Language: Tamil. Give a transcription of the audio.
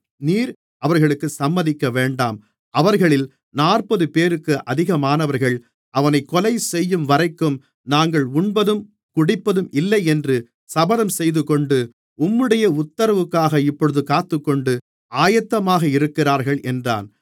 நீர் அவர்களுக்குச் சம்மதிக்கவேண்டாம் அவர்களில் நாற்பதுபேருக்கு அதிகமானவர்கள் அவனைக் கொலைசெய்யும்வரைக்கும் தாங்கள் உண்பதும் குடிப்பதுமில்லையென்று சபதம்செய்துகொண்டு உம்முடைய உத்தரவுக்காக இப்பொழுது காத்துக்கொண்டு ஆயத்தமாக இருக்கிறார்கள் என்றான்